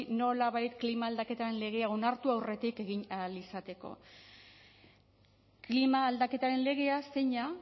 nolabait klima aldaketaren legea onartu aurretik egin ahal izateko klima aldaketaren legea zeina